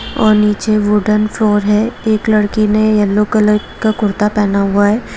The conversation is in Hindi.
और निचे वूडन फ्लोर है एक लड़की ने येलो कलर का कुर्ता पहना हुआ है।